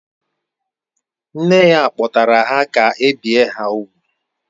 Nne ya kpọtara ha ka e bie ha úgwù